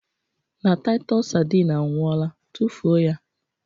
Na Taịtọs sardine anwụọla tufuo ya